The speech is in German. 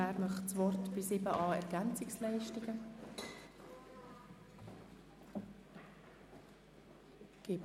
Wer möchte das Wort zu 7.a Ergänzungsleistungen ergreifen?